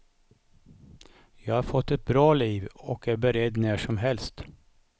Jag har fått ett bra liv och är beredd när som helst.